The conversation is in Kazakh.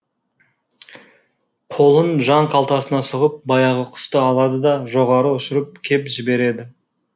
қолын жан қалтасына сұғып баяғы құсты алады да жоғары ұшырып кеп жібереді